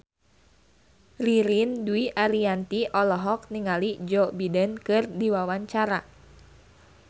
Ririn Dwi Ariyanti olohok ningali Joe Biden keur diwawancara